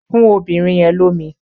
Fún obìnrin yẹn lómi!